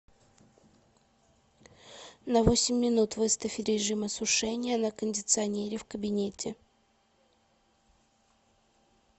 на восемь минут выставь режим осушения на кондиционере в кабинете